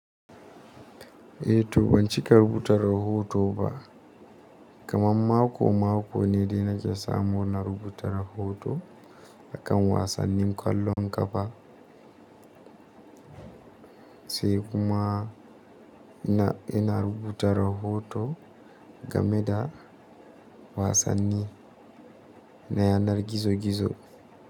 Eh to ban cika rubuta rahoto ba, kamar mako mako ne dai na ke samu na rubuta rahoto, akan wasannin kwallon ƙafa, sai kuma ina, ina rubuta rahoto game da wasanni na yanar gizo gizo.